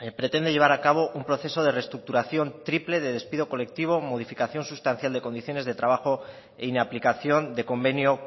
pretende llevar a cabo un proceso de restructuración triple de despido colectivo modificación sustancias de condiciones de trabajo e inaplicación de convenio